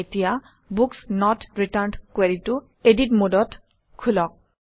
এতিয়া books not returned কুৱেৰিটো edit মোডত খোলক